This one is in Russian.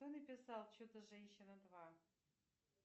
кто написал чудо женщина два